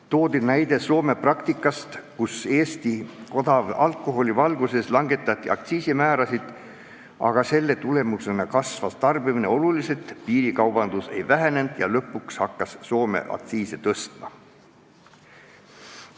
Toodi näide Soome praktikast, kus Eesti odava alkoholi tõttu langetati aktsiisimäärasid, aga selle tulemusena kasvas tarbimine oluliselt, piirikaubandus ei vähenenud ja lõpuks hakkas Soome aktsiise tõstma.